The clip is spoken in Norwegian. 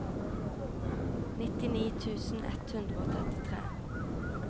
nittini tusen ett hundre og trettitre